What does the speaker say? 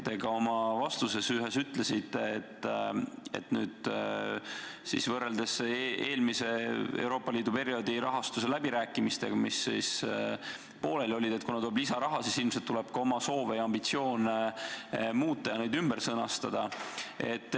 Ühes oma vastuses te ütlesite, et nüüd siis, võrreldes eelmise Euroopa Liidu perioodi rahastuse läbirääkimisetega, mis pooleli olid, kuna tuleb lisaraha, peab ilmselt ka oma soove ja ambitsioone muutma ja need ümber sõnastama.